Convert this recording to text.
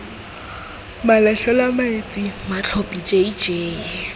malatlhelwa maetsi matlhophi j j